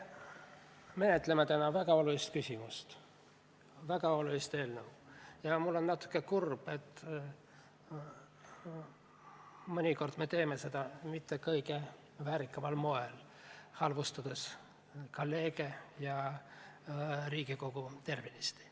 Me menetleme täna väga olulist küsimust, väga olulist eelnõu ja mul on natuke kurb, et me ei tee seda mitte kõige väärikamal moel, vaid halvustades kolleege ja Riigikogu tervenisti.